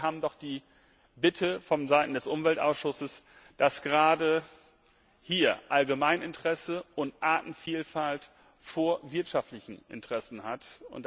Aber wir haben die Bitte vonseiten des Umweltausschusses, dass gerade hier Allgemeininteresse und Artenvielfalt Vorrang vor wirtschaftlichen Interessen haben.